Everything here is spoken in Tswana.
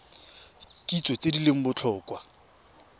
kitso tse di leng botlhokwa